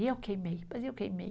E eu queimei, mas eu queimei.